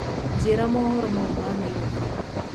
njĩĩra mohoro ma riu ma nyairobi